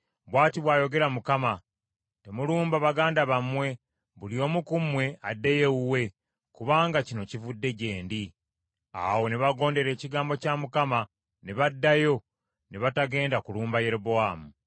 Bw’ati bw’ayogera Mukama , ‘Temulumba baganda bammwe. Buli omu ku mmwe addeyo ewuwe, kubanga kino kivudde gye ndi.’ ” Awo ne bagondera ekigambo kya Mukama , ne baddayo, ne batagenda kulumba Yerobowaamu.